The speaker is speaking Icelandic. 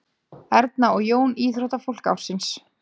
Erna og Jón íþróttafólk ársins